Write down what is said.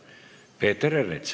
Peeter Ernits.